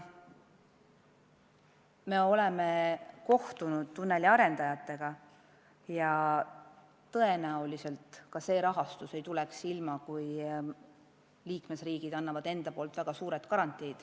Me oleme kohtunud tunneli arendajatega ja tõenäoliselt see rahastus ei tuleks ilma selleta, et liikmesriigid annavad ehitamisele väga suured garantiid.